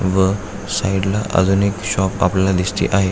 व साइडला अजून एक शॉप आपल्याला दिसते आहे.